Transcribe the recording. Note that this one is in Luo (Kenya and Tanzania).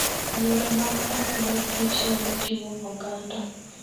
Yore mag manyo mor Kich nyalo jiwo oganda.